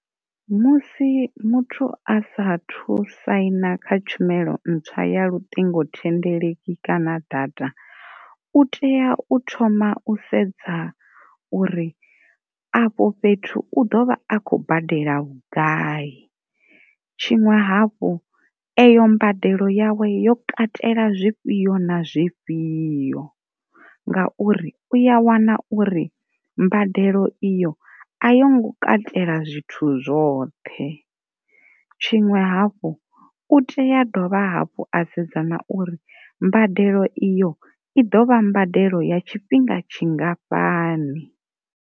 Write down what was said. Musi muthu a sa thu saina kha tshumelo ntswa ya luṱingo thendeleki kana data u tea u thoma u sedza uri afho fhethu u ḓovha a khou badela vhugai, tshiṅwe havhu eyo mbadelo yawe yo katela zwifhio na zwifhio, nga uri uya wana uri mbadelo iyo a yo ngo katela zwithu zwoṱhe, tshiṅwe hafhu u tea dovha hafhu a sedza na uri mbadelo iyo i ḓo vha mbadelo ya tshifhinga tshingafhani.